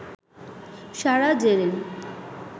Sara Zerin